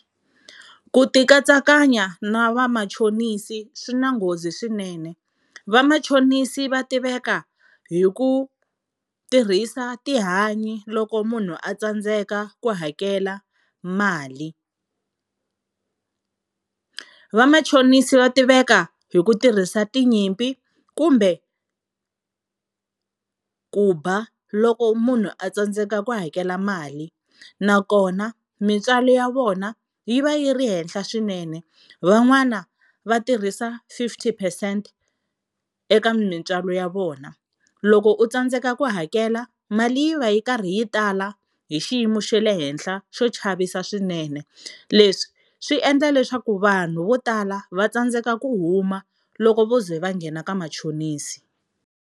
Ku ti katsakanya na vamachonisi swi na nghozi swinene, vamachonisi va tiveka hi ku tirhisa tihanyi loko munhu a tsandzeka ku hakela mali. Vamachonisi va tiveka hi ku tirhisa tinyimpi kumbe ku ba loko munhu a tsandzeka ku hakela mali, nakona mintswalo ya vona yi va yi ri henhla swinene. Van'wana va tirhisa fifty percent eka mintswalo ya vona, loko u tsandzeka ku hakela mali yi va yi karhi yi tala hi xiyimo xa le henhla xo chavisa swinene, leswi swi endla leswaku vanhu vo tala va tsandzeka ku huma loko vo ze va nghena ka machonisi.